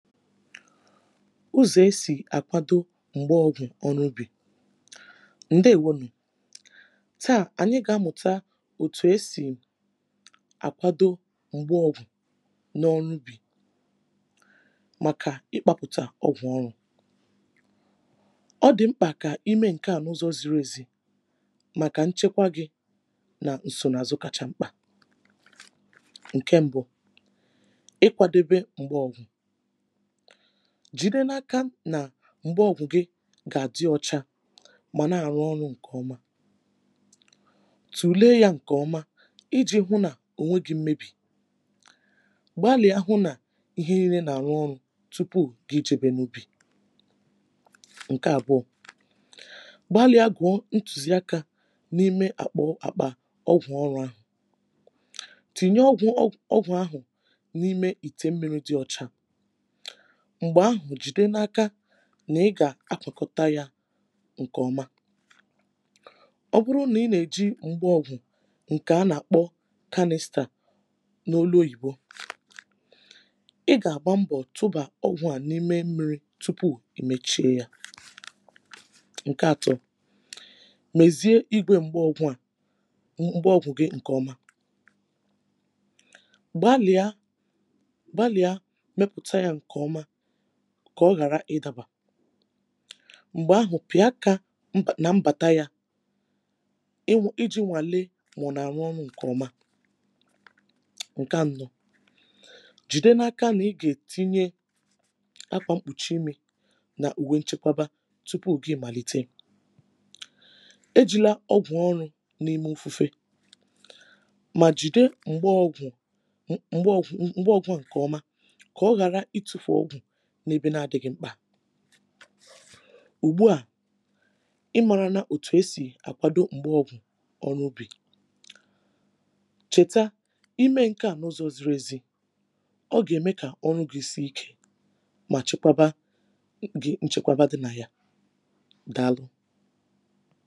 ụzọ̀ e sì àkwado m̀gbaọ̀gwụ̀ ọrụ ubì.ǹdeèwo nụ̀ taà ànyị gà-amụ̀ta etù esì àkwado m̀gbaọgwụ̀ n’ ọ̀rụ ubì màkà ịkpȧpụ̀tà ọgwụ̀ ọrụ̇, ọ dị̀ mkpà kà ime nke à n’ ụzọ̇ ziri ezi màkà nchekwa gị̇ nà ǹsònààzụ kacha mkpà.ǹke mbụ̇ ịkwȧdebe m̀gbaọ̀gwụ̀, jìde n’aka nà m̀gbe ọ̀gwụ̀ gị gà-àdị ọcha mà na-àrụ ọrụ̇ ǹkè ọma, tùlee yȧ ǹkè ọma iji̇ hụ nà ònwe gi̇ mmebì, gbalìa hụ nà ihe nii̇rė nà-àrụ ọrụ̇ tụpụ gị̀ jebè n’ubì.ǹke àbụọ gbalìa gùọ ntùzi akȧ n’ime àkpa àkpa ọgwụ̀ ọrụ̇ ahụ̀ tìnye ọgwụ̀ ọgwụ ahụ̀ n’ime ìtè mmi̇ri dị ọ̇chȧ m̀gbè ahụ̀ jìde n’aka nà ị gà-àkọkọta yȧ ǹkèọma,ọ bụrụ nà ị nà-èji m̀gbaọ̀gwụ̀ ǹkè a nà-àkpọ canister n’olu oyìbo ị gà-àgba mbọ̀ tụbà ọgwụ̀ à n’ime mmiri̇ tụpụ ì mèchie yȧ.ǹke atọ mèzie igwė m̀gbaọgwụ̀ à um m̀gbaọgwụ̀ gị̇ ǹkèọma [paues] Gbalia gbalia mepụta ya nke ọma kà ọ ghàra ịdaba m̀gbè ahụ̀ pị̀a akà mba nà mbàta yȧ iji̇ nwàle mà ọ nà-àrụ ọrụ̇ ǹkè ọma. ǹkè anọ̇ jìde n’ aka nà ị gà-ètinye akwà mkpùchi imi̇ nà ùwe nchekwaba tụpụ ògi màlite eji̇la ọgwụ̀ ọrụ̇ n’ ime ufufe[paues] mà jìde m̀gbe ọgwụ̀ m̀gbe ọgwụ̀ m̀gbe ọgwụ̀ a ǹkè ọma ka oghara itufu ọgwụ n'ebe na adịghị mkpa ùgbu à ị mȧrana òtù e sì àkwado m̀gbaọ̀gwụ̀ ọrụ ubì chèta i mee ǹke à n’ ụzọ̇ ziri ezi ọ gà-ème kà ọrụ gị̇ sie ikė mà chekwaba m gị̇ nchekwaba dị nà ya daalụ.